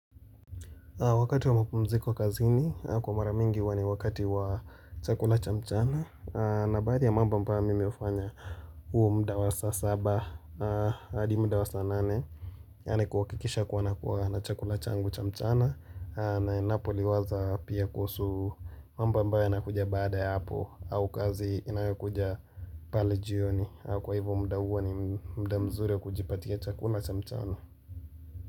Wakati wa mapumziko kazini kwa maramingi huwa ni wakati wa chakula chamchana na baadhi ya mambo mimi hufanya huo mda wa sasa saba adi mda wa sasa nane nikuhakikisha kuwa nakuwa na chakula changu chamchana Napoliwaza pia kuhusu mambo ambayo yanakuja baada ya hapo au kazi inayokuja pale jioni Kwa hivyo mda huo ni mda mzuri kujipatia chakula chamchana.